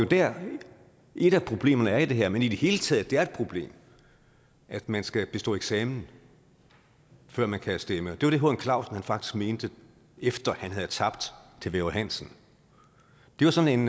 der et af problemerne er i det her men i det hele taget et problem at man skal bestå en eksamen før man kan stemme det var det h n clausen faktisk mente efter at han havde tabt til væver hansen det var sådan